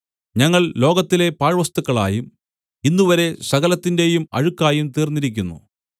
ഞങ്ങൾ ലോകത്തിലെ പാഴ്‌വസ്തുക്കളായും ഇന്നുവരെയും സകലത്തിന്റെയും അഴുക്കായും തീർന്നിരിക്കുന്നു